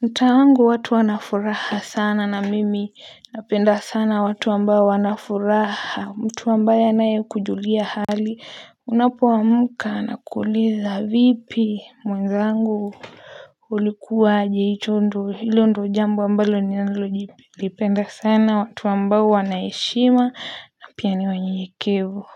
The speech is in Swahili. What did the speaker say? Mtaa wangu watu wanafuraha sana na mimi napenda sana watu ambao wanafuraha mtu ambaye anayekujulia hali unapoamka anakuuliza vipi mwenzangu. Ulikuwa aje hicho ndo hilo ndio jambo ambalo ninalo jipi lipenda sana watu ambao wana heshima na piani wanyenyekevu.